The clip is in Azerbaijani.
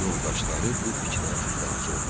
Yoldaşları bu fikrə razı oldular.